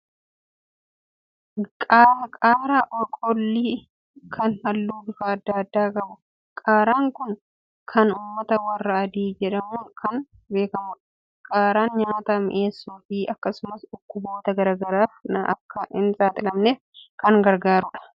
Qaaraa kollii kan halluu bifa adda addaa qabu. Qaaraan kun kan uummata warra adii jedhamuun kan beekamudha. Qaaraan nyaata mi'eessuufi akkasumas dhukkuboota garaa garaaf akka hin saaxilamneef kan gargaarudha. Yeroo gabaabaa keessatti oomishamee firii kan kennudha.